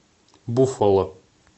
буффало